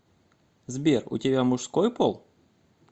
сбер у тебя мужской пол